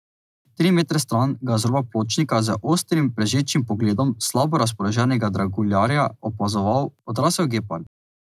Tri metre stran ga je z roba pločnika z ostrim, prežečim pogledom slabo razpoloženega draguljarja opazoval odrasel gepard.